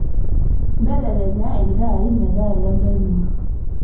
mbelekenya iltaai meetaa ilengae mua